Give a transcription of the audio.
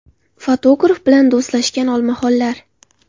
Fotograf bilan do‘stlashgan olmaxonlar .